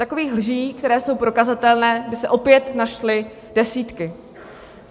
Takových lží, které jsou prokazatelné, by se opět našly desítky.